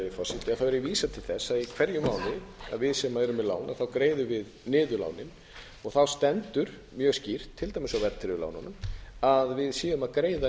forseti er ég að vísa til þess að í hverjum mánuði að við sem erum með lán greiðum við niður lánin þá stendur mjög skýrt til dæmis á verðtryggðu lánunum að við séum að greiða